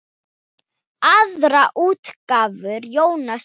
Aðrar útgáfur Jóhanns eru